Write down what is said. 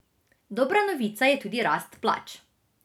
Dobra novica je tudi rast plač.